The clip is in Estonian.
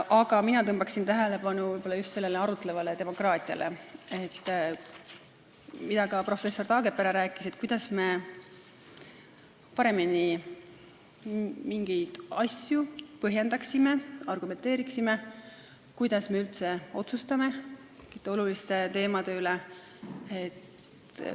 Aga mina juhiksin tähelepanu võib-olla just sellele arutlevale demokraatiale, millest ka professor Taagepera rääkis: et me paremini mingeid asju põhjendaksime ja argumenteeriksime ning kuidas me üldse oluliste teemade üle otsustame.